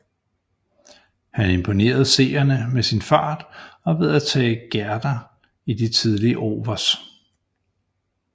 Han imponerede seerne med sin fart og ved at tage gærder i de tidlige overs